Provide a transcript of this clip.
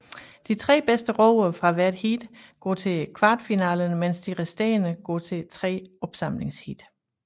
De tre bedste roere fra hvert heat går til kvartfinalerne mens de resterende går til tre opsamlingsheat